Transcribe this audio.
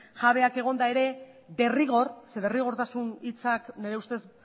jabeak egonda ere derrigor derrigortasun hitzak nire ustez